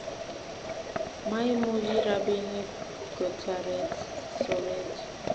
Maimuchi rabinik kotaret sobet